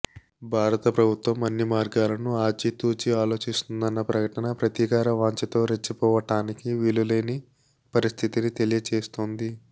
భారతప్రభుత్వం అన్ని మార్గాలను ఆచితూచి ఆలోచిస్తోందన్న ప్రకటన ప్రతీకార వాంఛతో రెచ్చిపోవటానికి వీలులేని పరిస్థితిని తెలియ చేస్తోంది